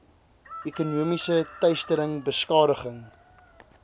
ekonomiese teistering beskadiging